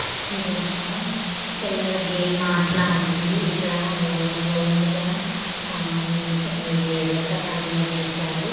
ఇది ఒక పిల్లల గేమ్ ఆటల ఉంది ఇక్కడ ఓ రౌండగా ఆఆ ఇది వృత్తకరం లో గీశారు.